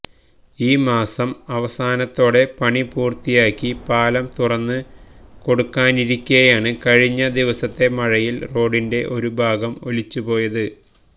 ഈ മാസം അവസാനത്തോടെ പണിപൂര്ത്തിയാക്കി പാലം തുറന്ന് കൊടുക്കാനിരിക്കെയാണ് കഴിഞ്ഞ ദിവസത്തെ മഴയില് റോഡിന്റെ ഒരു ഭാഗം ഒലിച്ചുപോയത്